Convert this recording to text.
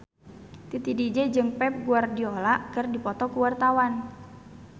Titi DJ jeung Pep Guardiola keur dipoto ku wartawan